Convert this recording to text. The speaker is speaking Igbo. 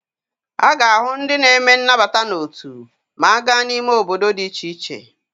A ga-ahụ ndị na-eme nnabata n'otu ma a gaa n'ime obodo dị iche iche.